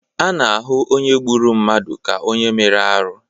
A na-ahụ onye gburu mmadụ ka onye mere arụ.